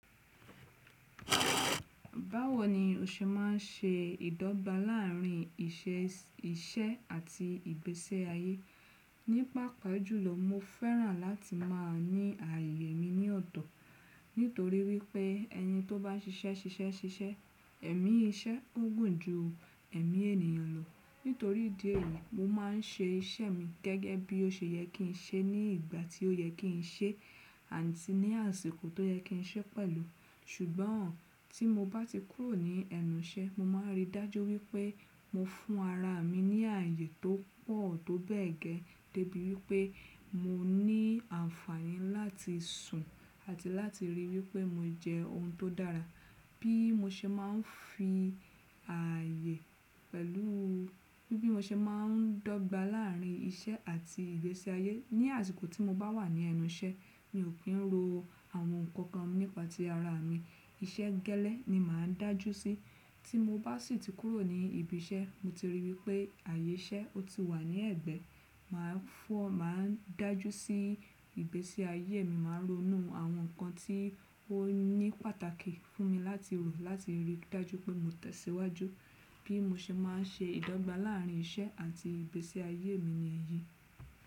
Báwo ni o ṣe má n se ìdọ́gba láàrin iṣẹ́ àti ìgbésẹ́ ayé? Nípa pàájùlọ mo fẹ́ràn láti máa ní ààyè mi ní ọ̀tọ̀. Nítorí wípé ẹni tó bá ṣiṣẹ́ ṣiṣẹ́ ṣiṣẹ́, ẹ̀mí iṣẹ́ ó gùn ju ẹ̀mí ènìyàn lọ. Nítorí ìdí èyí, mo má n ṣe iṣẹ́ mi gẹ́gẹ́ bí ó ṣe yẹ kí n ṣe ní ìgbà tí ó yẹ kí n ṣe àti ní àsìkò tó yẹ kí n ṣe pẹ̀lú. Ṣùgbọ́n tí mo bá ti kúrò ní ẹnu iṣẹ́, mo má n rí dájú wípé mo fún ara mi ní ààyè tó pọ̀ tó bẹ́ẹ̀ gẹ́. Debi wípé mo ní àǹfààní láti sùn àti láti ríi wípé mo jẹ ohun tó dára. Bí mo ṣe má n fi ààyè pẹ̀lú, bí mo ṣe má n dọ́gba láàrin iṣẹ́ àti ìgbésẹ́ ayé. Ni àsìkò tí mo bá wà ní ẹnu iṣẹ́ mi ò kí ń ro àwọn nǹkan kan nípa ti ara mi. Iṣẹ́ gẹ́lẹ́ ni màá n dájú sí. Tí mo bá sì ti kúrò ní ibi iṣẹ́, mo ti ríi wípé ààyè iṣẹ́ ó ti wà ní ẹ̀gbẹ́, màá fún, màá n dájú sí ìgbésẹ́ ayé mi. Màá ronú àwọn nǹkan tí ó ní pàtàkì fún mi láti rò láti rí dájú pé mo tẹ̀síwájú. Bí mo ṣe má n ṣe ìdọ́gba láàrin iṣẹ́ àti ìgbésí ayé mi ni èyí.